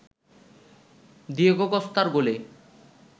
Diego কস্তার গোলে